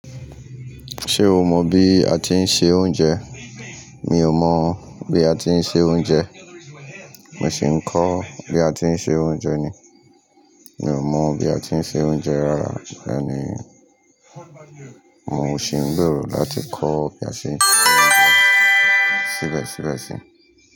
Ṣé o mọ bí a ti ń se oúnjẹ? Mi ò mọ̀ bí a ti ń se oúnjẹ. Mo sì ń kọ́ bí a ti ń se oúnjẹ ni. Mi ò mọ̀ bí a ti ń se oúnjẹ rárá, bẹ́ẹ̀ ni, mò ṣì ń gbèrò láti kọ́ bí a sé síbẹ̀síbẹ̀ sí.